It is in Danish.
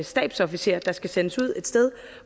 stabsofficerer der skal sendes ud et sted